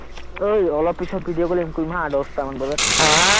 ঐ অলপ পিচত video calling কৰিম হা দশটামান বজাত,